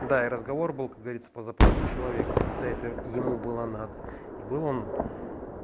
да и разговор был как говорится по запросу человека когда это ему было надо и был он